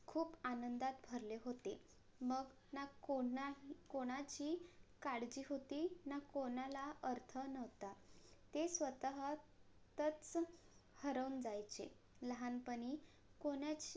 खूप आनंदात भरले होते. मग ना कोणाही~ कोणाची काळजी होती ना कोणाला अर्थ नव्हता. ते स्वतः तच हरवून जायचे लहानपणी कोणाचे